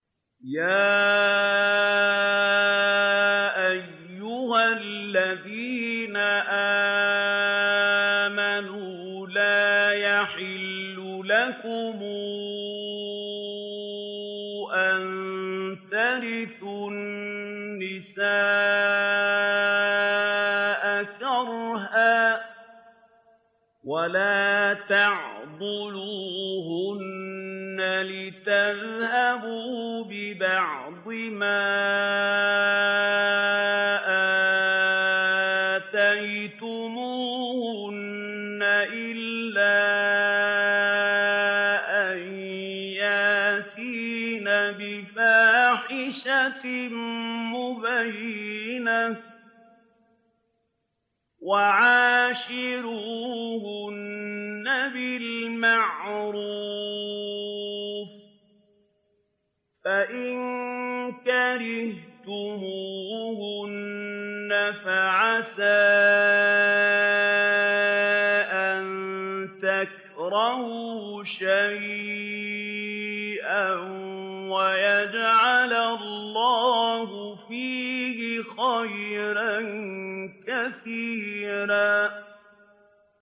يَا أَيُّهَا الَّذِينَ آمَنُوا لَا يَحِلُّ لَكُمْ أَن تَرِثُوا النِّسَاءَ كَرْهًا ۖ وَلَا تَعْضُلُوهُنَّ لِتَذْهَبُوا بِبَعْضِ مَا آتَيْتُمُوهُنَّ إِلَّا أَن يَأْتِينَ بِفَاحِشَةٍ مُّبَيِّنَةٍ ۚ وَعَاشِرُوهُنَّ بِالْمَعْرُوفِ ۚ فَإِن كَرِهْتُمُوهُنَّ فَعَسَىٰ أَن تَكْرَهُوا شَيْئًا وَيَجْعَلَ اللَّهُ فِيهِ خَيْرًا كَثِيرًا